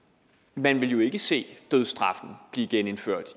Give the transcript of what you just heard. man ville jo ikke se dødsstraffen blive genindført